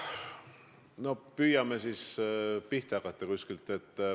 No püüame siis kuskilt pihta hakata.